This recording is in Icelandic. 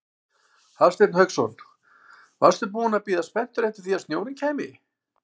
Hafsteinn Hauksson: Varstu búinn að bíða spenntur eftir því að snjórinn kæmi?